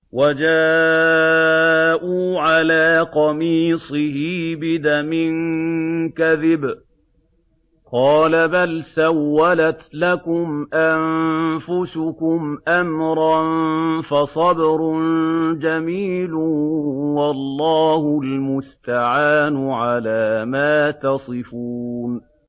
وَجَاءُوا عَلَىٰ قَمِيصِهِ بِدَمٍ كَذِبٍ ۚ قَالَ بَلْ سَوَّلَتْ لَكُمْ أَنفُسُكُمْ أَمْرًا ۖ فَصَبْرٌ جَمِيلٌ ۖ وَاللَّهُ الْمُسْتَعَانُ عَلَىٰ مَا تَصِفُونَ